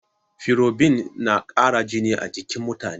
Ferobinna ƙara jini a jikin mutane.